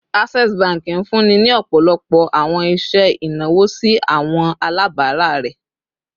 Access Bank nfunni ni ọpọlọpọ awọn iṣẹ inawo si awọn alabara rẹ